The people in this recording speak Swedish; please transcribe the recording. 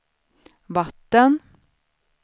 vatten